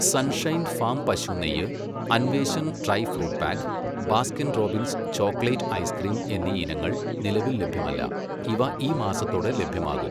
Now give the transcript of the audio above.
sunshine farm പശു നെയ്യ്, Anveshan dry fruit pack, Baskin Robbins chocolate ice cream എന്നീ ഇനങ്ങൾ നിലവിൽ ലഭ്യമല്ല, ഇവ ഈ മാസത്തോടെ ലഭ്യമാകും